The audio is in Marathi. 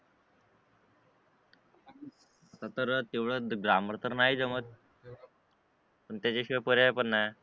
तर तेवढं ग्रॅमर तर नाही जमत पण त्याच्या शिवाय पर्याय पण नाही